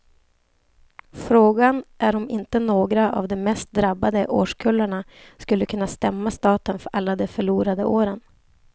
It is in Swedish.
Frågan är om inte några av de mest drabbade årskullarna skulle kunna stämma staten för alla de förlorade åren.